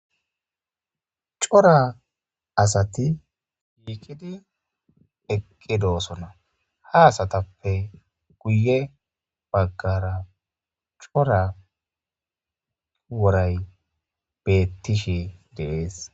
Cora asati shiiqidi eqqidoosona ha asatappe guye baggara cora woray bettishi deees